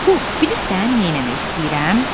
Pux, bilirsən, neyləmək istəyirəm?